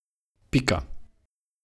Pika.